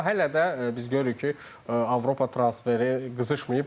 Amma hələ də biz görürük ki, Avropa transferi qızışmayıb.